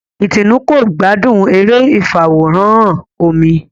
Itunu kò gbádùn eré ifaworanhan omí